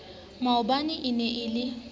maobane e ne e le